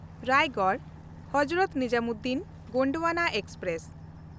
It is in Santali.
ᱨᱟᱭᱜᱚᱲ-ᱦᱚᱡᱨᱚᱛ ᱱᱤᱡᱟᱢᱩᱫᱽᱫᱤᱱ ᱜᱚᱱᱰᱣᱟᱱᱟ ᱮᱠᱥᱯᱨᱮᱥ